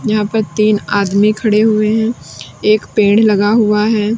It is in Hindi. यहां पे तीन आदमी खड़े हुए हैं एक पेड़ लगा हुआ है।